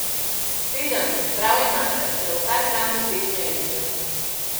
Sedem, prav imate, za vsak dan v tednu enega.